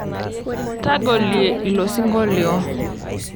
Tagolie ilo sinkolio